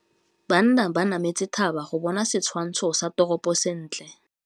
Banna ba nametse thaba go bona setshwantsho sa toropô sentle.